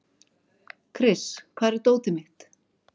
Kris, hvar er dótið mitt?